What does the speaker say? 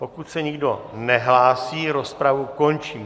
Pokud se nikdo nehlásí, rozpravu končím.